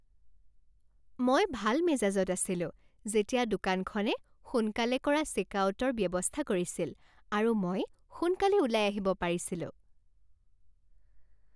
মই ভাল মেজাজত আছিলো যেতিয়া দোকানখনে সোনকালে কৰা চেকআউটৰ ব্যৱস্থা কৰিছিল আৰু মই সোনকালে ওলাই আহিব পাৰিছিলো।